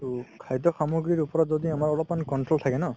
তো খাদ্য সামগ্ৰীৰ ওপৰত যদি আমাৰ অলপমান control থাকে ন